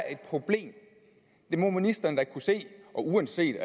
et problem det må ministeren da kunne se og uanset